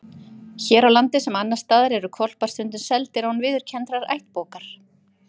Hér á landi, sem annars staðar, eru hvolpar stundum seldir án viðurkenndrar ættbókar.